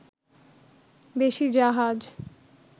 বেশি জাহাজ